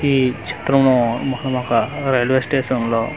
ఈ చిత్రము railway station లో.